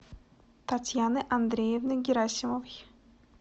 татьяны андреевны герасимовой